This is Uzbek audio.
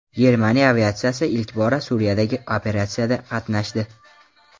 Germaniya aviatsiyasi ilk bora Suriyadagi operatsiyada qatnashdi .